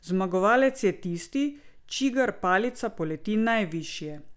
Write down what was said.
Zmagovalec je tisti, čigar palica poleti najvišje.